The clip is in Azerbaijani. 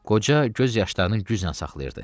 Qoca göz yaşlarını güclə saxlayırdı.